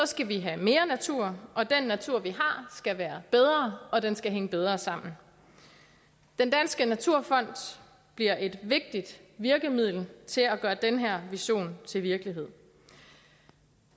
skal vi have mere natur og den natur vi har skal være bedre og den skal hænge bedre sammen den danske naturfond bliver et vigtigt virkemiddel til at gøre den her vision til virkelighed